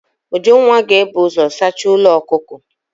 Ujunwa ga-ebu ụzọ saacha ụlọ ọkụkọ.